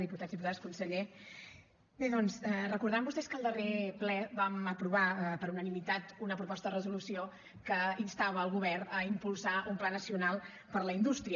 diputats diputades conseller bé doncs deuen recordar vostès que al darrer ple vam aprovar per unanimitat una proposta de resolució que instava el govern a impulsar un pla nacional per la indústria